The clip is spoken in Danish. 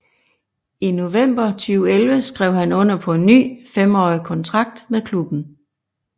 I november 2011 skrev han under på en ny femårig kontrakt med klubben